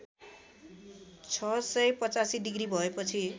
६८५ degree भएपछि